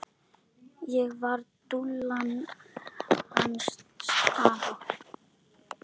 Ég var dúllan hans afa.